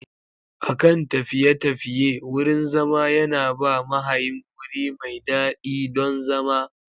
A kan tafiye-tafiye, wurin zama yana ba mahayin wuri mai daɗi don zama.